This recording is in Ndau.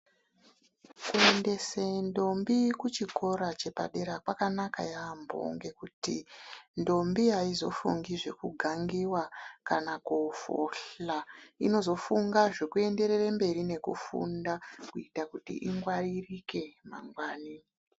Kuendese ndombi kuchikora chepadera, kwakanaka yaampho, ngekuti ndombi aizofungi zvekugangiwa, kana koofohla. Inozofunga zvekuenderere mberi nekufunda, kuita kuti ingwaririke mangwani.